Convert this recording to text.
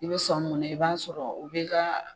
I bɛ sɔni mun na i b'a sɔrɔ u bɛ kaa